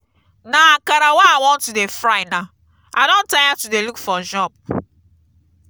na akara wey i wan to dey fry now i don tire to dey look for job.